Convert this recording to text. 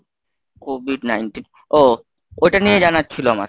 COVID nineteen ও ওটা নিয়ে জানার ছিলো আমার।